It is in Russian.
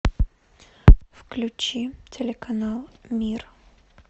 включи телеканал мир